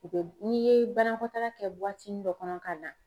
O be n'i ye banakɔtaa kɛ buwatini dɔ kɔnɔ ka na